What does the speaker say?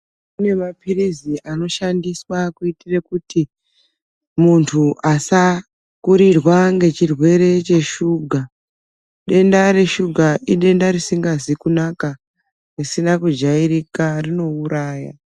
Kune mapirizi anoshandiswa kuyitire kuti, muntu asakurirwa ngechirwere cheshuga, denda reshuga idenda risingazi kunaka ,risina kujayirika ,rinouraya.